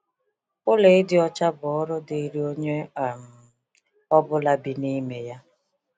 Ụlọ ịdị ọcha bụ ọrụ dịrị onye um ọ bụla bi n’ime ya.